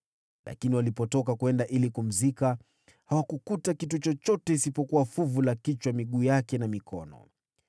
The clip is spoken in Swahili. Lakini walipotoka kwenda kumzika, hawakukuta kitu chochote isipokuwa fuvu la kichwa, miguu yake na mikono.